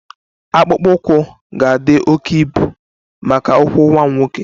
Akpụkpọ ụkwụ ga-adị oke ibu maka ụkwụ nwa m nwoke